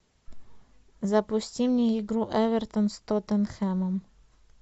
запусти мне игру эвертон с тоттенхэмом